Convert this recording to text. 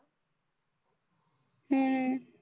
हम्म